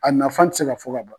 A nafan ti se ka fɔ ka ban.